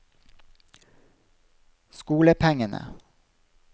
skolepengene